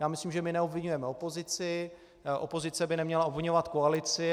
Já myslím, že my neobviňujeme opozici, opozice by neměla obviňovat koalici.